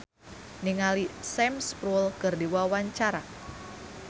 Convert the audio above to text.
Dicky Wahyudi olohok ningali Sam Spruell keur diwawancara